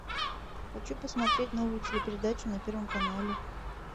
хочу посмотреть новую телепередачу на первом канале